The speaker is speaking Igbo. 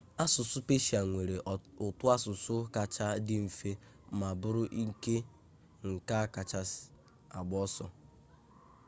asụsụ peshịa nwere ụtọasụsụ kacha dị mfe ma bụrụ nke a kacha agbaso